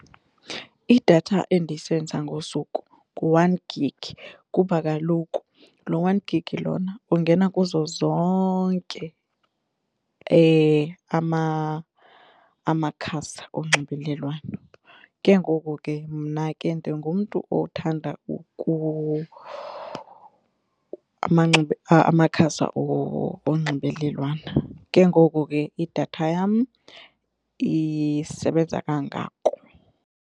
Idatha endisenzisa ngosuku ngu-one gig kuba kaloku lo one gig lona ungena kuzo zonke amakhasi onxibelelwano ke ngoku ke mna ke ndingumntu othanda amakhasi onxibelelwano ke ngoku ke idatha yam isebenza kangako.